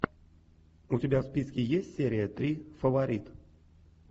у тебя в списке есть серия три фаворит